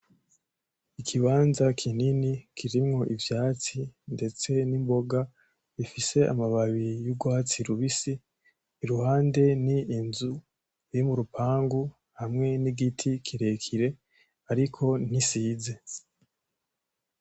Ikimbaza kinini kirimwo ivyatsi ndetse n'imboga ifise amababi y'urwatsi rubisi, iruhande ni inzu iri murupangu hamwe ni giti kirekire ariko ntisize.